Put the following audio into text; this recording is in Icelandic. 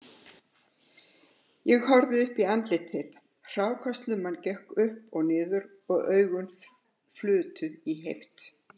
Ég horfði uppí andlit þitt, hrákaslumman gekk upp og niður og augun flutu í heift